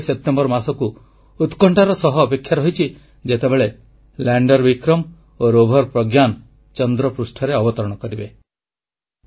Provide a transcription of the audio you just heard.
ଏବେ ସେପ୍ଟେମ୍ବର ମାସକୁ ଉତ୍କଣ୍ଠାର ସହ ଅପେକ୍ଷା ରହିଛି ଯେତେବେଳେ ଲାଣ୍ଡର ବିକ୍ରମ ଓ ରୋଭର ପ୍ରଜ୍ଞା ଚନ୍ଦ୍ରପୃଷ୍ଠରେ ଅବତରଣ କରିବେ